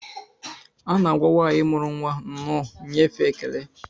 A na-agwa nwanyị muru nwa nnọọ nyefee ekele